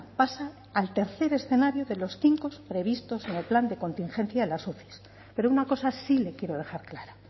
pasa al tercer escenario de los cinco previstos en el plan de contingencia de las uci pero una cosa sí le quiero dejar clara